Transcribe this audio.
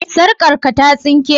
Sarkarka ta sinke?